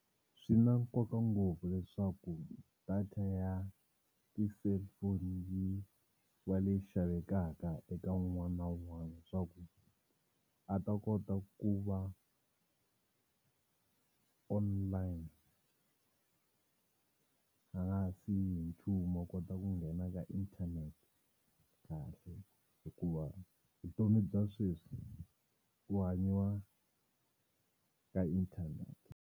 Swi na nkoka ngopfu leswaku data ya ti-cellphone yi va leyi xavekaka eka un'wana na un'wana leswaku a ta kota ku va online a nga ha siyi hi nchumu a kota ku nghena ka internet kahle hikuva vutomi bya sweswi ku hanyiwa ka internet.